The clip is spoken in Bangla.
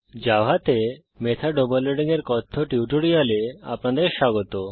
জাভাতে মেথড ওভারলোডিং এর কথ্য টিউটোরিয়ালে আপনাদের স্বাগত